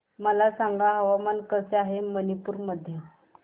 मला सांगा हवामान कसे आहे मणिपूर मध्ये